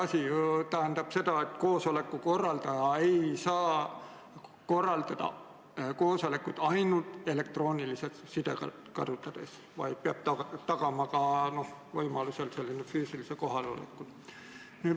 See tähendab seda, et koosoleku korraldaja ei saa korraldada koosolekut ainult elektroonilist sidet kasutades, vaid peab tagama ka võimaluse füüsiliselt kohal olla.